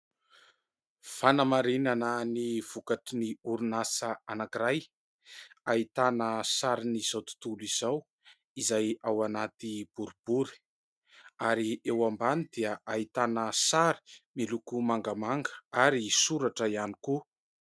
Fanamarinana ny vokatry ny orinasa anankiray ahitana sarin'izao tontolo izao izay ao anaty boribory ary eo ambany dia ahitana sary miloko mangamanga ary soratra ihany koa.